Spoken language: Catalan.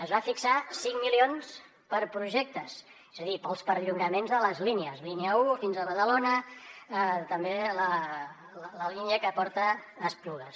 es van fixar cinc milions per a projectes és a dir per als perllongaments de les línies línia un fins a badalona també la línia que porta a esplugues